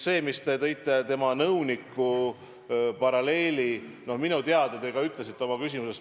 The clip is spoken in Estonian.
Te tõite tema nõuniku paralleeli, minu teada te ka seda ütlesite oma küsimuses.